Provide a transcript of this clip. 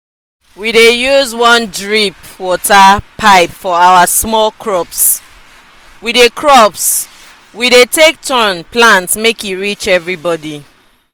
we dey use one drip water pipe for our small crops we dey crops we dey take turn plant make e reach everybody.